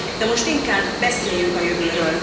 De most inkább beszéljünk a jövőről.